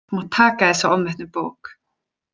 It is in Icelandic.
Þú mátt taka þessa ofmetnu bók.